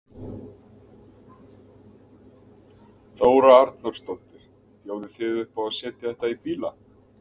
Þóra Arnórsdóttir: Bjóðið þið upp á að setja þetta í bíla?